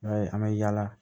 I b'a ye an bɛ yaala